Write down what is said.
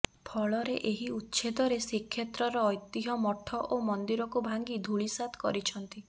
ଫଳରେ ଏହି ଉଚ୍ଛେଦରେ ଶ୍ରୀକ୍ଷେତ୍ରର ଐତିହ୍ୟ ମଠ ଓ ମନ୍ଦିରକୁ ଭାଙ୍ଗି ଧୂଳିସାତ କରିଛନ୍ତି